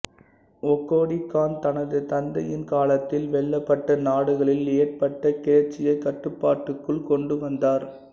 ஒகோடி Khan தனது தந்தையின் காலத்தில் வெல்லப்பட்ட நாடுகளில் ஏற்பட்ட கிளர்ச்சியை கட்டுப்பாட்டுக்குள் கொண்டுவந்தார்